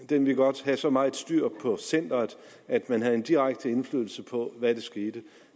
den ville godt have så meget styr på centeret at man havde en direkte indflydelse på hvad der skete